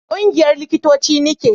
ƙungiyar likitoci ni ke